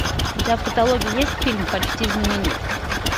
у тебя в каталоге есть фильм почти знаменит